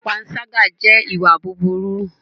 Pànṣàga jẹ ìwà bùbùru.